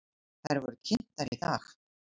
Þær voru kynntar í dag.